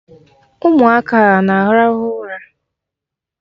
Ụmụaka a na-arahụ ụra?